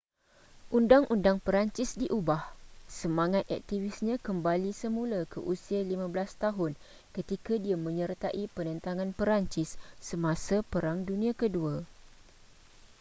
undang-undang perancis diubah semangat aktivisnya kembali semula ke usia 15 tahun ketika dia menyertai penentangan perancis semasa perang dunia ke-2